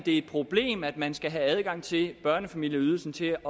er et problem at man skal have adgang til børnefamilieydelsen til